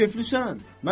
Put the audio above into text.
Ya keflisən?